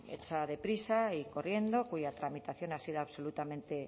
hecha deprisa y corriendo cuya tramitación ha sido absolutamente